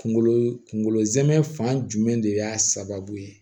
Kunkolo kunkolo zɛmɛ fan jumɛn de y'a sababu ye